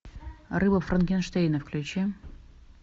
рыба франкенштейна включи